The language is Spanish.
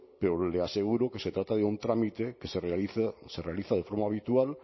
pero le aseguro que se trata de un trámite que se realiza de forma habitual